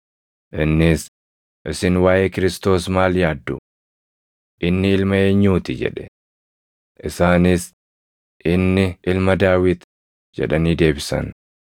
innis, “Isin waaʼee Kiristoos maal yaaddu? Inni ilma eenyuu ti?” jedhe. Isaanis, “Inni Ilma Daawit” jedhanii deebisan.